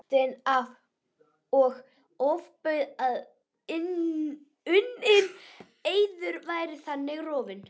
kallaði Marteinn og ofbauð að unninn eiður væri þannig rofinn.